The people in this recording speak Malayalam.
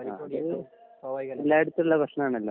ആ അത് എല്ലാട്ത്തുള്ള പ്രേശ്നനണലോ